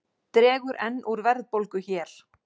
Dregur enn úr verðbólgu hér